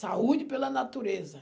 Saúde pela natureza.